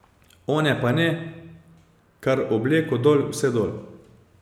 One pa ne, kar obleko dol, vse dol.